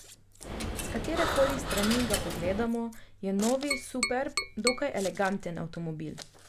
S katere koli strani ga pogledamo, je novi superb dokaj eleganten avtomobil.